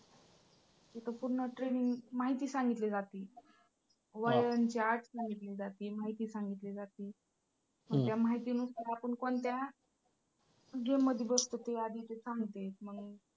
तिथं पूर्ण training माहिती सांगितली जाती. वयांची अट सांगितली जाती. माहिती सांगितली जाती. त्या माहितीनुसार आपण कोणत्या game मध्ये बसतो ते आधी ते सांगताहेत मग